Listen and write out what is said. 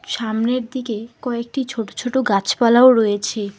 সামনের দিকে কয়েকটি ছোট ছোট গাছপালাও রয়েছে।